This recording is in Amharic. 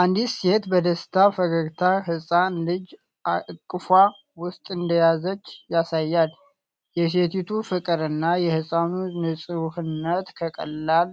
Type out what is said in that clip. አንዲት ሴት በደስታ ፈገግታ ሕፃን ልጅ እቅፏ ውስጥ እንደያዘች ያሳያል። የሴቲቱ ፍቅር እና የሕፃኑ ንፁህነት ከቀላል